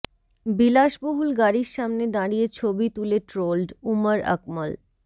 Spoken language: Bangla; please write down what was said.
বিলাসবহুল গাড়ির সামনে দাঁড়িয়ে ছবি তুলে ট্রোলড উমর আকমল